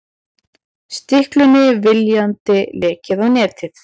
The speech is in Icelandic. Stiklunni viljandi lekið á netið